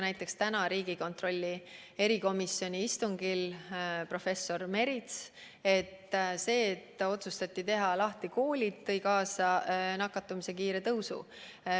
Näiteks tänasel riigieelarve kontrolli erikomisjoni istungil möönis professor Merits, et otsus koolid lahti teha tõi kaasa nakatumise kiire tõusu.